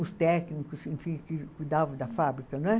Os técnicos, enfim, que cuidavam da fábrica, não é?